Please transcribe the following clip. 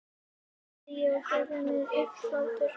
sagði ég og gerði mér upp hlátur.